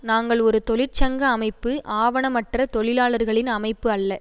நாங்கள் ஒரு தொழிற்சங்க அமைப்பு ஆவணமற்ற தொழிலாளர்களின் அமைப்பு அல்ல